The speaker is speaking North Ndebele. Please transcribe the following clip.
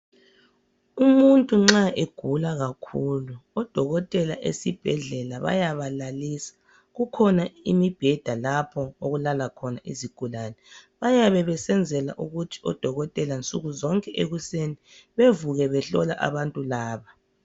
Umuntu nxa egula kakhulu odokotela esibhedlela bayabalalisa, kukhona imibheda lapho okulala khona izigulane. Bayenza lokhu ukwenzela ukuthi nsuku zonke ekuseni bevuke behlola abantu laba.